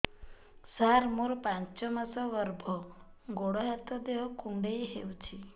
ସାର ମୋର ପାଞ୍ଚ ମାସ ଗର୍ଭ ଗୋଡ ହାତ ଦେହ କୁଣ୍ଡେଇ ହେଉଛି